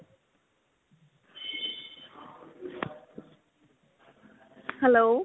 hello.